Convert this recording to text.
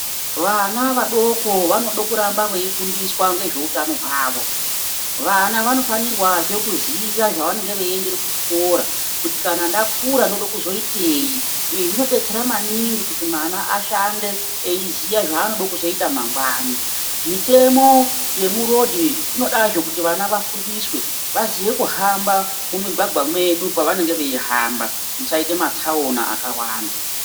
Vana vadoko vanoda kuramba veifundiswa ngezveutano hwavo. Vana vanofanirwazve kuziya zvevanenge vechiendere kuchikora, kuti kana ndakura ndinoda kuzoiteyi, izvi zvinodetsera maningi kuti mwana ashande eiziya zvaanoda kuzoita mangwana. Mitemo yemurodhi inodazve kuti vana vafundiswe, vaziye kuhamba mumigwagwa medu pavanenge veihamba musaite matsaona akawanda.